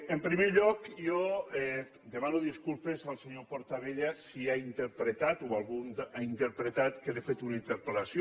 en primer lloc jo demano disculpes al senyor portabella si ha interpretat o algú ha interpretat que li he fet una interpel·lació